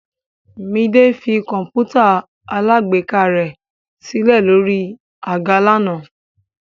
Midé fi kọ̀ǹpútà alágbèéká rẹ̀ sílẹ̀ sórí àga lánàá.